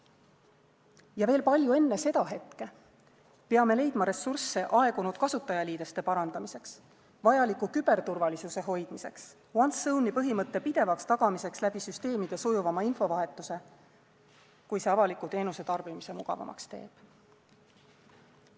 Ja veel palju enne seda hetke peame leidma ressursse aegunud kasutajaliideste parandamiseks, vajaliku küberturvalisuse hoidmiseks, once-only põhimõtte pidevaks tagamiseks süsteemide sujuvama infovahetusega, kui see avaliku teenuse tarbimise mugavamaks teeb.